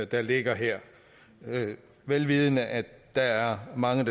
der ligger her vel vidende at der er mange